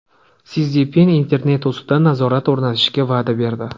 Si Szinpin internet ustidan nazorat o‘rnatishga va’da berdi.